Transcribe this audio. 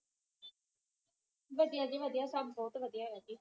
ਵਧੀਆ ਜੀ ਵਧੀਆ ਸੱਬ ਬੋਹੋਤ ਵਧੀਆ ਹੈ ਜੀ